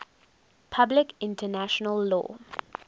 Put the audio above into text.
public international law